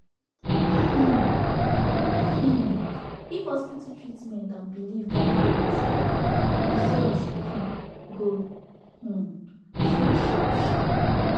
um um if hospital treatment and belief gader work together result um go um show sharp sharp